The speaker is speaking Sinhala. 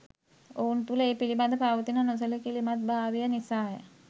ඔවුන් තුළ ඒ පිළිබඳ පවතින නොසැලකිලිමත්භාවය නිසාය.